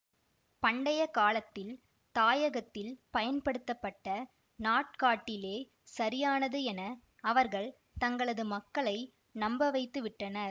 பண்டைய காலத்தில் தாயகத்தில் பயன்படுத்தப்பட்ட நாட்காட்டிலே சரியானது என அவர்கள் தங்களது மக்களை நம்பவைத்து விட்டனர்